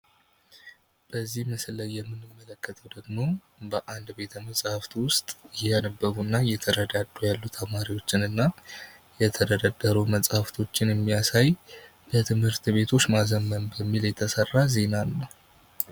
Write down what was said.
በዚህ ምስል የምንመለከተው ደግሞ በአንድ ቤተ-መጽሃፍ ዉስጥ እያነበቡ እና እየተረዳዱ ያሉ ተማሪዎችን እና የተለያዩ መጽሃፍቶችን የሚያሳይ የትምህርት ቤቶችን ማዘመን በሚል የተሰራ ዜናን ነው።